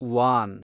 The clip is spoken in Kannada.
ವಾನ್